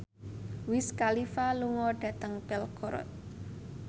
Wiz Khalifa lunga dhateng Belgorod